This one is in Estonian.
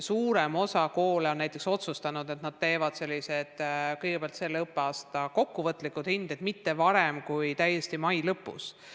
Suurem osa koole on näiteks otsustanud, et nad panevad selle õppeaasta kokkuvõtlikud hinded välja alles mai lõpus.